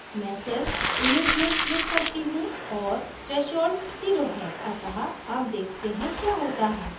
मैं सिर्फ image में click करती हूँ और threshold zero है अतः अब देखते हैं क्या होता है